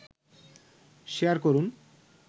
share করুন